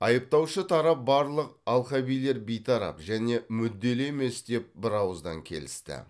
айыптаушы тарап барлық алқабилер бейтарап және мүдделі емес деп бірауыздан келісті